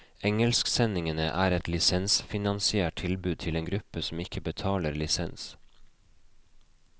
Engelsksendingene er et lisensfinansiert tilbud til en gruppe som ikke betaler lisens.